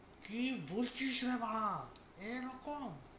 কি বলছিস রে বাড়া এরকম?